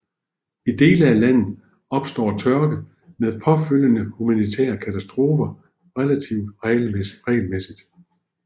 I dele af landet opstår tørke med påfølgende humanitære katastrofer relativt regelmæssigt